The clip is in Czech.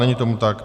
Není tomu tak.